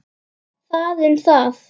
Það um það.